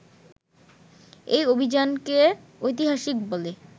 এই অভিযানকে ঐতিহাসিক বলে